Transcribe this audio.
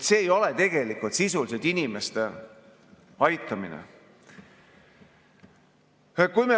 See ei ole sisuliselt inimeste aitamine.